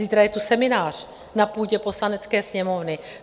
Zítra je tu seminář na půdě Poslanecké sněmovny.